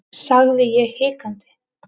sagði ég hikandi.